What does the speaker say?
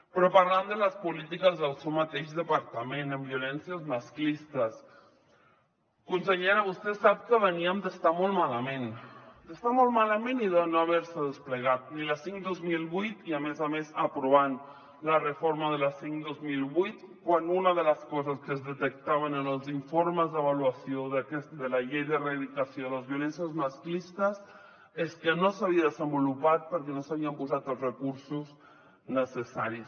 però parlant de les polítiques del seu mateix departament en violències masclistes consellera vostè sap que veníem d’estar molt malament d’estar molt malament i de no haver se desplegat ni la cinc dos mil vuit i a més a més aprovant la reforma de la cinc dos mil vuit quan una de les coses que es detectaven en els informes d’avaluació de la llei d’erradicació de les violències masclistes és que no s’havia desenvolupat perquè no s’hi havien posat els recursos necessaris